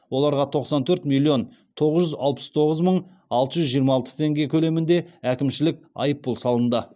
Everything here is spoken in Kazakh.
оларға тоқсан төрт миллион тоғыз жүз алпыс тоғыз мың алты жүз жиырма алты теңге көлемінде әкімшілік айыппұл салынды